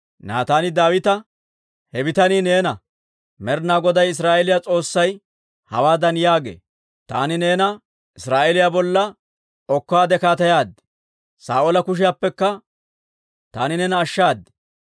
Naataani Daawita, «He bitanii neena! Med'inaa Goday Israa'eeliyaa S'oossay hawaadan yaagee; ‹Taani neena Israa'eeliyaa bolla okkaadde kaateyaad; Saa'oola kushiyaappekka taani neena ashshaad;